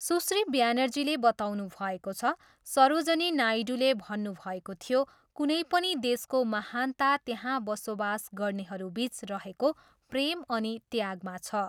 सुश्री ब्यानर्जीले बताउनुभएको छ, सरोजनी नायडूले भन्नुभएको थियो, कुनै पनि देशको महानता त्यहाँ बसोबास गर्नेहरूबिच रहेको प्रेम अनि त्यागमा छ।